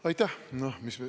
Aitäh!